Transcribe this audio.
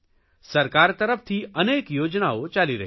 સરકાર તરફથી અનેક યોજનાઓ ચાલી રહી છે